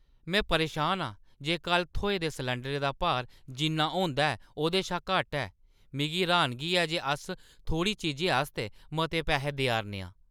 में परेशान आं जे कल्ल थ्होए दे सलैंडरै दा भार, जिन्ना होंदा ऐ, ओह्दे शा घट्ट ऐ। मिगी र्‌हानगी ऐ जे अस थोह्‌ड़ी चीजै आस्तै मते पैहे देआʼरने आं।